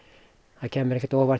það kæmi mér ekkert á óvart